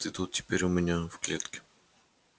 ты тут теперь у меня в клетке